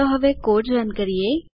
ચાલો હવે code run કરો